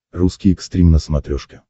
русский экстрим на смотрешке